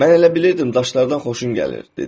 Mən elə bilirdim daşlardan xoşun gəlir, dedi.